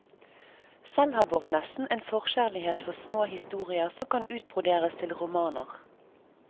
Selv har baronessen en forkjærlighet for små historier som kan utbroderes til romaner.